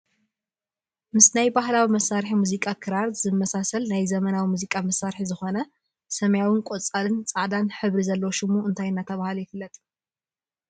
ምስ ናይ ባህላዊ መሳርሒ ሙዚቃ ክራር ዝመሳሰል ናይ ዘመናዊ ሙዚቃ መሳርሒ ዝኮነ ሰማያዊን ቆፃልን ፃዕዳን ሕብሪ ዘለዎ ሽሙ እንታይ እናተባህለ ይፍለጥ?